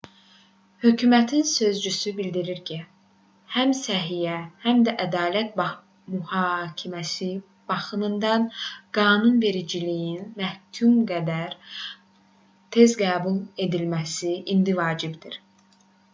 hökumətin sözçüsü bildirdi ki həm səhiyyə həm də ədalət mühakiməsi baxımından qanunvericiliyin mümkün qədər tez qəbul edilməsi indi vacibdir